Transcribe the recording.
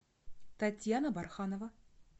татьяна барханова